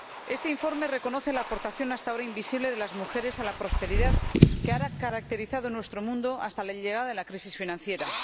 Este informe reconoce la aportación, hasta ahora invisible, de las mujeres a la prosperidad que ha caracterizado nuestro mundo hasta la llegada de la crisis financiera.